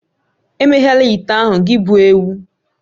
Emeghela ite ahụ gị bụ ewu!